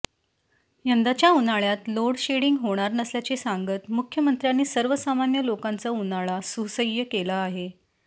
यंदाच्या उन्हाळ्यात लोडशेडिंग होणार नसल्याचे सांगत मुख्यमंत्र्यांनी सर्वसामान्य लोकांचा उन्हाळा सुसह्य केला आहे